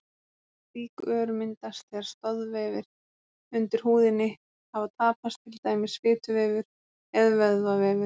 Slík ör myndast þegar stoðvefir undir húðinni hafa tapast, til dæmis fituvefur eða vöðvavefur.